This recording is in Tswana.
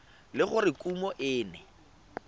le gore kumo e ne